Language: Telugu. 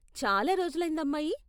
చాలా రోజులైందమ్మాయి!